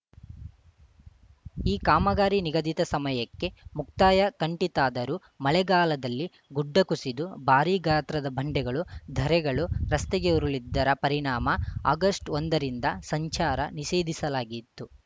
ಈ ಕಾಮಗಾರಿ ನಿಗದಿತ ಸಮಯಕ್ಕೆ ಮುಕ್ತಾಯ ಕಂಡಿತ್ತಾದರೂ ಮಳೆಗಾಲದಲ್ಲಿ ಗುಡ್ಡ ಕುಸಿದು ಭಾರೀ ಗಾತ್ರದ ಬಂಡೆಗಳು ಧರೆಗಳು ರಸ್ತೆಗೆ ಉರುಳಿದ್ದರ ಪರಿಣಾಮ ಆಗಷ್ಟ್ ಒಂದರಿಂದ ಸಂಚಾರ ನಿಷೇಧಿಸಲಾಗಿತ್ತು